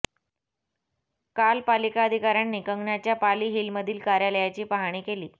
काल पालिका अधिकाऱ्यांनी कंगनाच्या पाली हिलमधील कार्यालयाची पाहणी केली